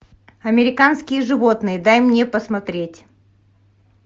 американские животные дай мне посмотреть